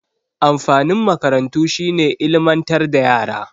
Amfanin makarantu shi ne ilmantar da yara.